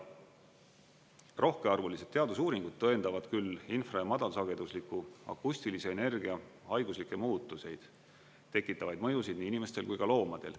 Rohkearvulised teadusuuringud tõendavad küll infra‑ ja madalsagedusliku akustilise energia haiguslikke muutuseid tekitavaid mõjusid nii inimestel kui ka loomadel.